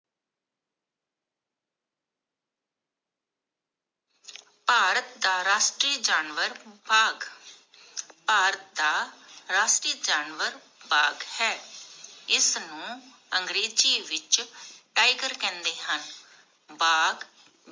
ਭਾਰਤ ਦਾ ਰਾਸ਼ਟਰੀਯ ਜਾਨਵਰ ਬਾਗ਼ ਭਾਰਤ ਦਾ ਰਾਸ਼ਟਰੀਯ ਜਾਨਵਰ ਬਾਗ ਹੈ ਇਸ ਨੂੰ ਅੰਗਰੇਜ਼ੀ ਵਿਚ Tiger ਕਹਿੰਦੇ ਹਨ ਭਾਗ